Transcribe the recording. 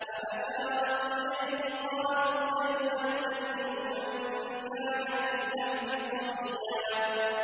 فَأَشَارَتْ إِلَيْهِ ۖ قَالُوا كَيْفَ نُكَلِّمُ مَن كَانَ فِي الْمَهْدِ صَبِيًّا